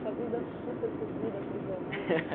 Sua vida super corrida